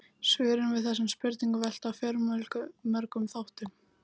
Svörin við þessum spurningum velta á fjölmörgum þáttum.